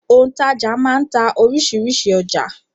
Òǹtajà máa ń ta oríṣiríṣi ọjà.